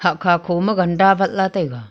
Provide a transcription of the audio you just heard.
kha kho ma ganda awat le taiga.